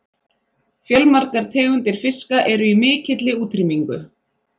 Fjölmargar tegundir fiska eru í mikilli útrýmingu.